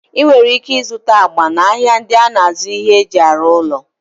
Ị nwere ike ịzụta agba n'ahịa ndị na-azụ ihe e ji arụ ụlọ.